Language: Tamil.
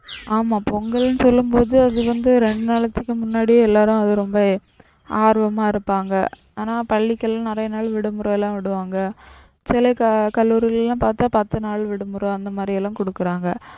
ஆமாம் பொங்கலுனு சொல்லும்போது அது வந்து ரெண்டு நாளைக்கு முன்னாடியே எல்லாரும் அது ரொம்ப ஆர்வமா இருப்பாங்க. ஆனா பள்ளிக்கெல்லாம் நிறைய நாள் விடுமுறையெல்லாம் விடுவாங்க. சில கல்லுரிகளெல்லாம் பாத்தா பத்து நாள் விடுமுறை அந்த மாதிரியெல்லாம் கொடுக்குறாங்க.